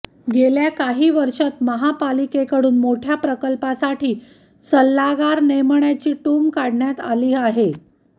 गेल्या काही वर्षांत महापालिकेकडून मोठ्या प्रकल्पासाठी सल्लागार नेमण्याची टूम काढण्यात आली आहे